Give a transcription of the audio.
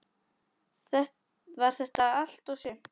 Var þetta allt og sumt?